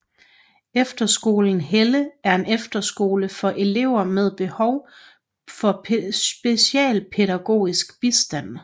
Efterskolen Helle er en efterskole for elever med behov for specialpædagogisk bistand